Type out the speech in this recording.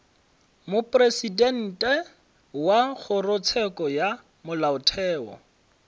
mopresidente wa kgorotsheko ya molaotheo